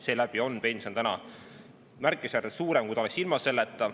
Seeläbi on pension märkimisväärselt suurem, kui ta oleks ilma selleta.